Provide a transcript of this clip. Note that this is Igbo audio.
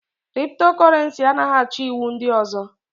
Kriptokurenci anaghị achọ iwu ndị ọzọ.